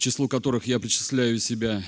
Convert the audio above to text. числу которых я причисляю себя